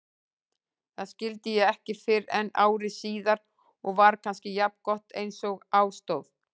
Það skildi ég ekki fyrren ári síðar og var kannski jafngott einsog á stóð.